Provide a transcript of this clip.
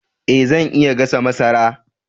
Eh zan iya gasa masara